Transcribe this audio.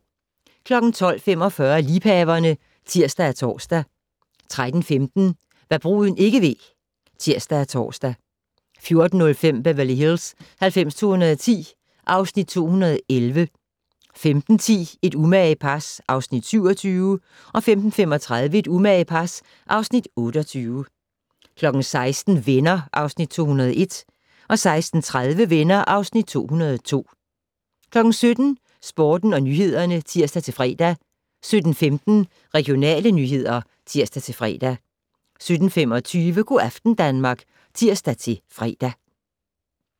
12:45: Liebhaverne (tir og tor) 13:15: Hva' bruden ikke ved (tir-ons) 14:05: Beverly Hills 90210 (Afs. 211) 15:10: Et umage par (Afs. 27) 15:35: Et umage par (Afs. 28) 16:00: Venner (Afs. 201) 16:30: Venner (Afs. 202) 17:00: Nyhederne og Sporten (tir-fre) 17:15: Regionale nyheder (tir-fre) 17:25: Go' aften Danmark (tir-fre)